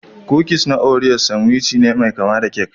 Kukis na Oreas sanwici ne mai kama da kek